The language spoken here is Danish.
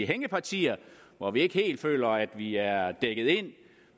hængepartier hvor vi ikke helt føler at vi er dækket ind